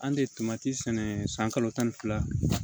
An de ye sɛnɛ san kalo tan ni fila